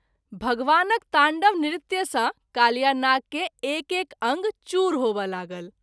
भगवान क ताण्डव नृत्य सँ कालियानाग के एक एक अंग चूर होमय लागल।